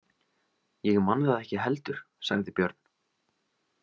Ég man það ekki heldur, sagði Björn.